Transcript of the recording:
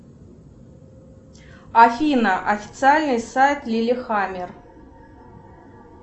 афина официальный сайт лили хамер